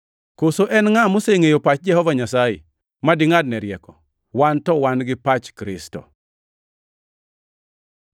“Koso en ngʼa mosengʼeyo pach Jehova Nyasaye ma dingʼadne rieko?” + 2:16 \+xt Isa 40:13\+xt* Wan to wan gi pach Kristo.